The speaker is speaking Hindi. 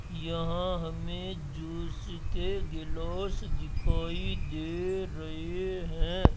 यहां हमे जूस के ग्लास दिखाई दे रहे हैं।